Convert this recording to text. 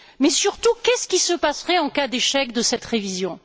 Mais surtout, qu'est ce qui se passerait en cas d'échec de cette révision?